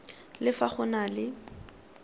le fa go na le